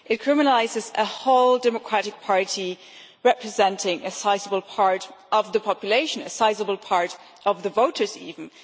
It criminalises a whole democratic party representing a sizable part of the population, a sizable part of the voters even.